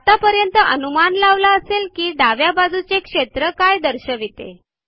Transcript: आतापर्यंत अनुमान लावला असेल कि डाव्या बाजूचे क्षेत्र काय दर्शविते